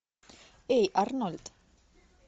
эй арнольд